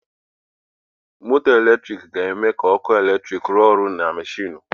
Moto eletrik ga-eme ka ọkụ eletrik rụọ ọrụ na mashinu.